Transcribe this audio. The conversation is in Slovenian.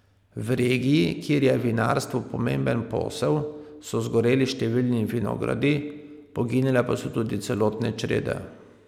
V regiji, kjer je vinarstvo pomemben posel, so zgoreli številni vinogradi, poginile pa so tudi celotne črede.